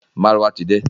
Márúwá ti de.